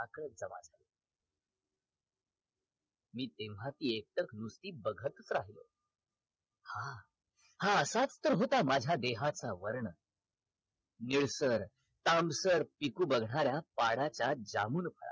मी तेव्हा ती मूर्ती एकटक बघतच राहिलो हा असाच तर होता माझ्या देहाचा वर्ण निळसर तांबसर पिकू बघणाऱ्या पडाच्या जांभूळ